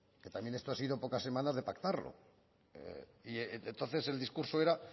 que también esto ha sido a pocas semanas de pactarlo entonces el discurso era